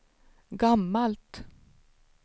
gammalt